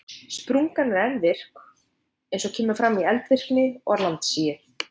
Sprungan er ennþá virk eins og kemur fram í eldvirkni og landsigi.